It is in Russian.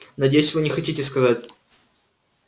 надеюсь вы не хотите сказать